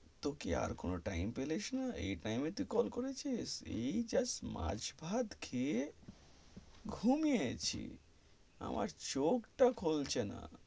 তুই কি আর কোনো time পেলিস না, এই time এ তুই কল করেছিস, এই just মাছ ভাত খেয়ে ঘুমিয়েছি, আমার চোখ তা খুলছে না,